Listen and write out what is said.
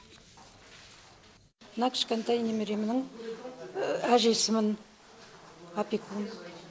мына кішкентай немеремнің әжесімін опекун